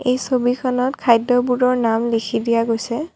এই ছবিখনত খাদ্যবোৰৰ নাম লিখি দিয়া গৈছে।